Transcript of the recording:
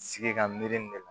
Sigi ka miiri nin ne la